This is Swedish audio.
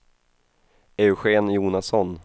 Eugen Jonasson